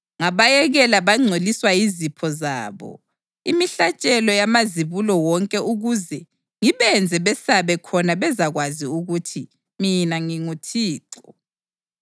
ngabayekela bangcoliswa yizipho zabo, imihlatshelo yamazibulo wonke ukuze ngibenze besabe khona bezakwazi ukuthi mina nginguThixo.’